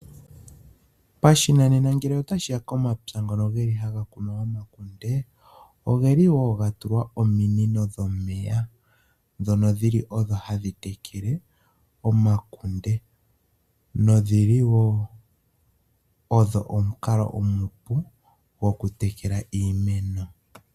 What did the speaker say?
Pashinanena ngele ota shi ya komapya ngono geli haga kunwa omakunde? Ogeli woo ga tulwa ominino dhomeya, dhono dhili odho hadhi tekele omakunde, nodhili woo odho omukalo omupu gwoku tekela iimeno.